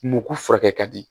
Mugu furakɛ ka di